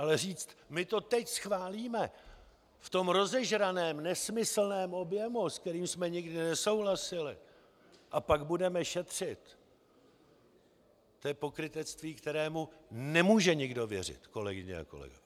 Ale říct: My to teď schválíme, v tom rozežraném, nesmyslném objemu, s kterým jsme nikdy nesouhlasili, a pak budeme šetřit - to je pokrytectví, kterému nemůže nikdo věřit, kolegyně a kolegové!